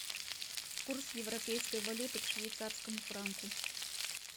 курс европейской валюты к швейцарскому франку